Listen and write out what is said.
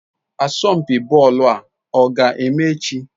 Asompi boolu a oga-eme echi?